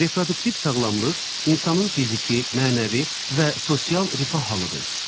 Reproduktiv sağlamlıq insanın fiziki, mənəvi və sosial rifah halıdır.